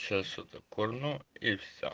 сейчас что курну и все